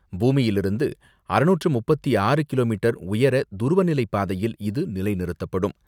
பூமியிலிருந்து அறுநூற்று முப்பத்து ஆறு கிலோமீட்டர் உயர துருவநிலைப் பாதையில் இது நிலைநிறுத்தப்படும்.